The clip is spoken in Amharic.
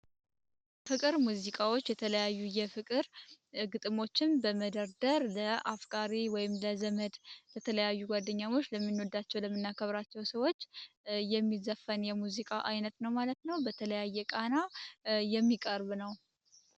የፍቅር ሙዚቃዎች የተለያዩ የፍቅር ግጥሞችን በመደርደር ለአፍጋሪወይም ለዘመድ በተለያዩ ጓደኛሞች ለሚኖዳቸው ለምናከብራቸው ሰዎች የሚዘፈን የሙዚቃ ዓይነት ነው ማለት ነው በተለያየ ቃና የሚቀርብ ነው፡፡